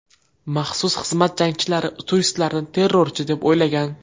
Maxsus xizmat jangchilari turistlarni terrorchi, deb o‘ylagan.